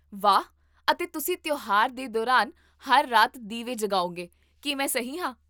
ਵਾਹ ਅਤੇ ਤੁਸੀਂ ਤਿਉਹਾਰ ਦੇ ਦੌਰਾਨ ਹਰ ਰਾਤ ਦੀਵੇ ਜਗਾਓਗੇ, ਕੀ ਮੈਂ ਸਹੀ ਹਾਂ?